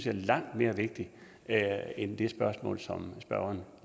er langt mere vigtigt end det spørgsmål som spørgeren